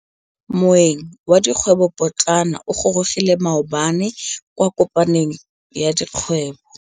Moêng wa dikgwêbô pôtlana o gorogile maabane kwa kopanong ya dikgwêbô.